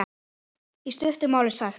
Í stuttu máli sagt.